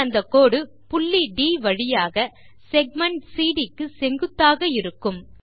பின் அந்த கோடு புள்ளிD வழியாக செக்மென்ட் சிடி க்கு செங்குத்து ஆக இருக்கும்